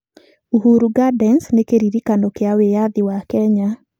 Uhuru Gardens nĩ kĩririkano kĩa wĩyathi wa Kenya.